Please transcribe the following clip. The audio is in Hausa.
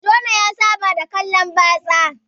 Jona ya Saba da kallan batsa